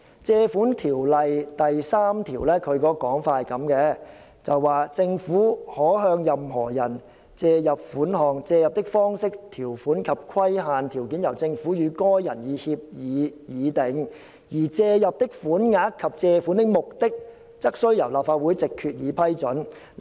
《借款條例》第3條訂明："政府可向任何人借入款項，借入的方式、條款及規限條件由政府與該人以協議議定，而借入的款額及借款的目的則須由立法會藉決議批准。